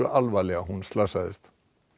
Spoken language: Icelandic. alvarlega hún slasaðist